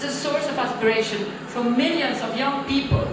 It is a source of aspiration for millions of young people